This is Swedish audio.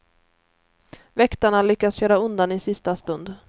Väktarna lyckas köra undan i sista stund.